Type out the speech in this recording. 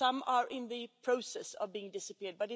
some are in the process of being disappeared.